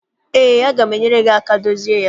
Eé, aga m enyere gị aka dozie ya.